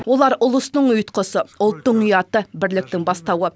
олар ұлыстың ұйытқысы ұлттың ұяты бірліктің бастауы